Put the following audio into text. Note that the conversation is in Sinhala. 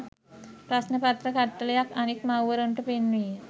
ප්‍රශ්න පත්‍ර කට්ටලයක් අනෙක් මව්වරුන්ට පෙන්වීය.